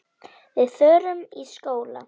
Við förum í skóla.